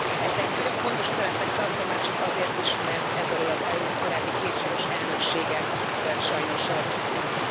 Ezt egy nagyon fontos üzenetnek tartom, már csak azért is, mert ez alól az EU korábbi két soros elnöksége sajnos kibújt.